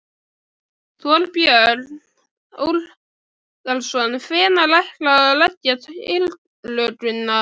Þorbjörn Þórðarson: Hvenær ætlarðu að leggja tillöguna?